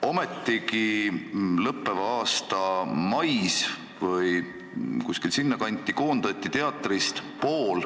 Ometigi, lõppeva aasta mais või kuskil selle kandis koondati teatrist pool